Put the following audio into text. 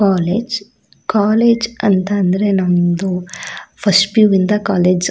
college college ಅಂತ ಅಂದ್ರೆ ನಮ್ದು ಫಸ್ಟ್ ಪಿಯು ಇಂದ ಕಾಲೇಜ್ --